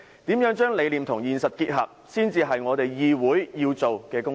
如何將理念和現實結合，才是議會要做的工作。